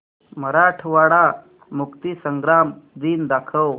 मराठवाडा मुक्तीसंग्राम दिन दाखव